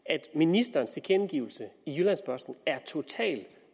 at ministerens tilkendegivelse i jyllands posten er totalt